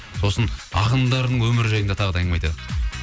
сосын ақындардың өмірі жайында тағы да әңгіме айтайық